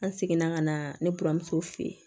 An seginna ka na ne buramuso fe ye